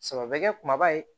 Saba bɛ kɛ kumaba ye